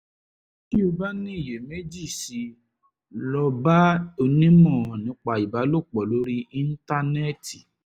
tí o bá ní iyèméjì sí i lọ bá onímọ̀ nípa ìbálòpọ̀ lórí íńtánẹ́ẹ̀tì